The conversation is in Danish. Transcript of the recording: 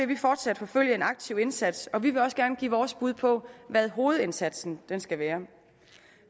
vil fortsat forfølge en aktiv indsats og vi vil også gerne give vores bud på hvad hovedindsatsen skal være